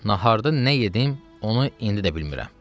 Naharda nə yedim, onu indi də bilmirəm.